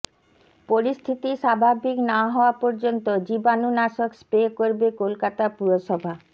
পরিস্থিতি স্বাভাবিক না হওয়া পর্যন্ত জীবাণুনাশক স্প্রে করবে কলকাতা পুরসভা